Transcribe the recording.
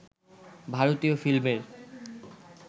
ভারতীয় ফিল্মের